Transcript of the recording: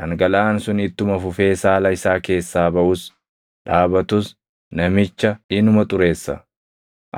Dhangalaʼaan sun ittuma fufee saala isaa keessaa baʼus dhaabatus namicha inuma xureessa.